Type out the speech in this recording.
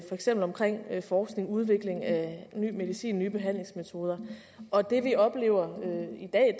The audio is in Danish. eksempel omkring forskning udvikling af ny medicin nye behandlingsmetoder og det vi oplever